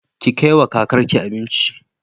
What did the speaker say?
Ki kaiwa kakar ki abinci.